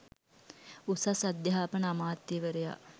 උසස් අධ්‍යාපන අමාත්‍යවරයා